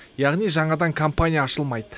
яғни жаңадан компания ашылмайды